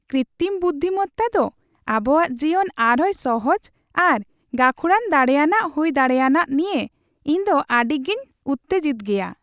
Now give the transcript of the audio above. ᱠᱨᱤᱛᱛᱤᱢ ᱵᱩᱫᱫᱷᱤᱢᱚᱛᱛᱟ ᱫᱚ ᱟᱵᱚᱣᱟᱜ ᱡᱤᱭᱚᱱ ᱟᱨᱦᱚᱸᱭ ᱥᱚᱦᱚᱡ ᱟᱨ ᱜᱟᱹᱠᱷᱩᱲᱟᱱ ᱫᱟᱲᱮᱭᱟᱱᱟᱜ ᱦᱩᱭ ᱫᱟᱲᱮᱭᱟᱱᱟᱜ ᱱᱤᱭᱟᱹ ᱤᱧ ᱫᱚ ᱟᱹᱰᱤᱜᱮᱧ ᱩᱛᱛᱮᱡᱤᱛᱚᱜᱮᱭᱟ ᱾